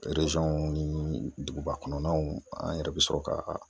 ni duguba kɔnɔnaw, an yɛrɛ be sɔrɔ ka